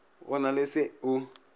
go na le se o